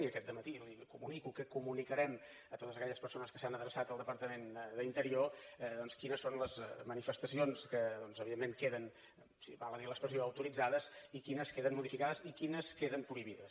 i aquest dematí li comunico que comunicarem a totes aquelles persones que s’han adreçat al departament d’interior doncs quines són les manifestacions que evidentment queden si val a dir l’expressió autoritzades i quines queden modificades i quines queden prohibides